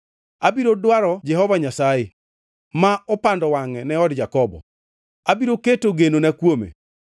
Abiro dwaro Jehova Nyasaye ma opando wangʼe ne od Jakobo. Abiro keto genona kuome.